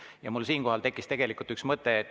Ja siinkohal tekkis mul üks mõte.